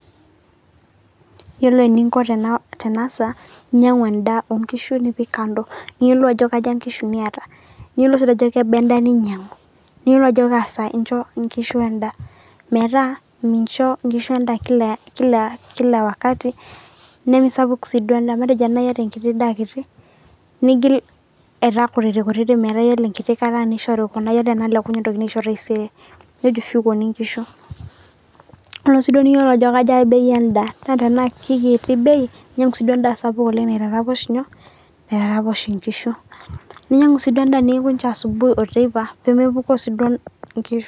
Iyolo eniinko tenasa iinyang'u endaa oonkishu nipik kando niyolou ajo kaja inkishu nieta ,niyolou ajo kebaa endaa niinyang'u niyelou ajo kaa saa incho inkishi endaa kila wakati nemesapuk sii duo endaa matejo ore enaa ieata enkiti daa kiti nigil aitaa kutitikutiti metaa iyol nkiti kata neishori kuna iyolo naaleku neitokini aisho taisere neitushukoni enkishu, ore sii duo tiniyeu niyolou ajo kaja ebei endaa ,naa tanaa kekiti ebei ninyang'u sii duo endaa sapuk naitaroposh enkishu, ninyang'u sii duo endaa neewuo ninche asubugi oteipa peemepukoo si duo inkishu.